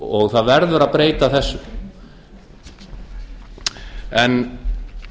og það verður að breyta þessu en